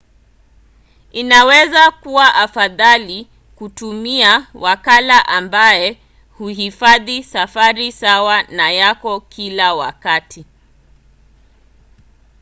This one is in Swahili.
inaweza kuwa afadhali kutumia wakala ambaye huhifadhi safari sawa na yako kila wakati